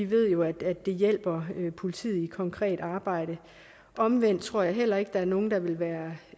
vi jo ved at det hjælper politiet i deres konkrete arbejde omvendt tror jeg heller ikke der er nogen der vil være